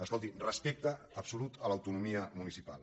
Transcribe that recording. escolti respecte absolut a l’autonomia municipal